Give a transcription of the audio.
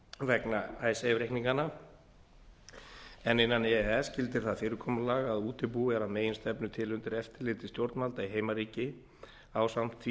vegna icesave reikninganna en innan e e s gildir það fyrirkomulag að útibú er að meginstefnu til undir eftirliti stjórnvalda í heimaríki ásamt því